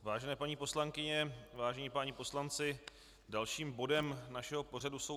Vážené paní poslankyně, vážení páni poslanci, dalším bodem našeho pořadu jsou